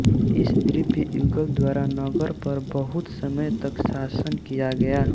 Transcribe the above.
इस दिव्य युगल द्वारा नगर पर बहुत समय तक शासन किया गया